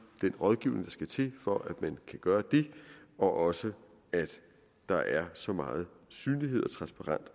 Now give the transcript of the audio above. den rådgivning der skal til for at man kan gøre det og også at der er så meget synlighed og transparens